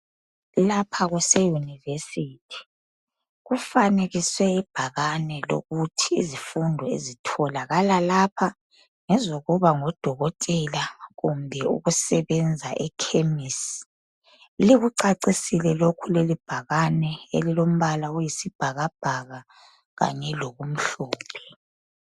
Lapha kuse yunivesithi. Kufanekiswe ibhakane lokuthi izifundo ezitholakala lapha ngezokuba ngudokotela, kumbe ukusebenza ekhemisi. Likucacisile lokhu lelibhakane elilombala oyisibhakabhaka kanye lokumhlophe.